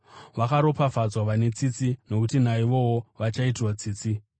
Vakaropafadzwa vane tsitsi nokuti naivowo vachaitirwa tsitsi.